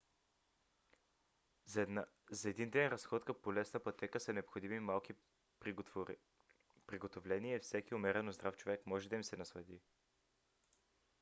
за един ден разходка по лесна пътека са необходими малки приготовления и всеки умерено здрав човек може да им се наслади